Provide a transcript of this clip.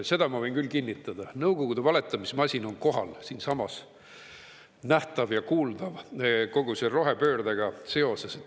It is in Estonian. Seda ma võin küll kinnitada: Nõukogude valetamismasin on kohal, siinsamas nähtav ja kuuldav kogu selle rohepöördega seoses.